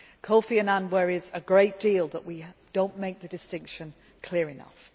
Kofi Annan worries a great deal that we do not make the distinction clear enough.